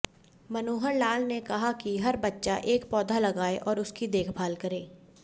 मनोहर लाल ने कहा कि हर बच्चा एक पौधा लगाए और उसकी देखभाल करें